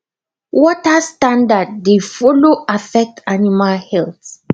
water standard dey follow affect animal health